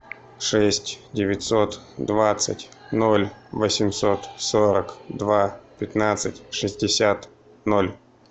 шесть девятьсот двадцать ноль восемьсот сорок два пятнадцать шестьдесят ноль